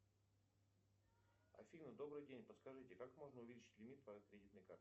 афина добрый день подскажите как можно увеличить лимит по кредитной карте